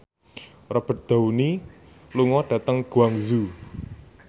Robert Downey lunga dhateng Guangzhou